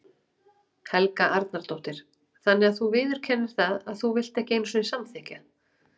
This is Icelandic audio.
Helga Arnardóttir: Þannig að þú viðurkennir það að þú vilt ekki einu sinni samþykkja?